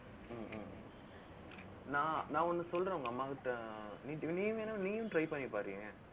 நான் நான் ஒண்ணு சொல்றேன், உங்க அம்மாகிட்ட நீயும் வேணாம், நீயும் try பண்ணிப் பாருய்யா